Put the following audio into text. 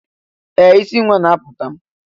Ee! Isi nwa na-apụta.